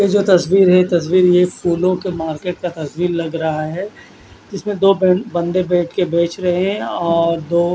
ये जो तस्वीर है तस्वीर में फूलो का मार्किट का तस्वीर लग रहा है इसमें दो बन बन्दे बेठ कर बेच रहे है और दो--